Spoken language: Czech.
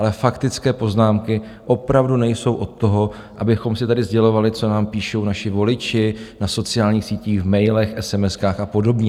Ale faktické poznámky opravdu nejsou od toho, abychom si tady sdělovali, co nám píšou naši voliči na sociálních sítích, v mailech, esemeskách a podobně.